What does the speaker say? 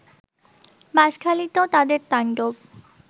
বাশঁখালীতেও তাদের তাণ্ডব